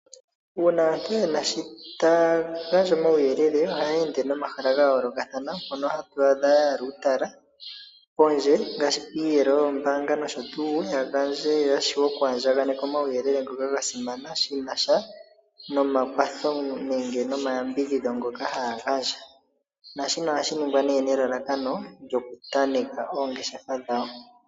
Uuna aantu yena shi taya gandja omauyelele, ohaya ende nomahala ga yoolokathana moka haa kala ya ninga uutala oondje, ngashi piiyelo yoombanga, opo ya gandje yo yaandjakaneka omauyelele ngoka ga simana shi nasha nomakwatho nenge nomayambidhidho ngoka haya gandja, naashika ohashi nigwa nelalakano lyoku tanteka oongeshefa dhawo.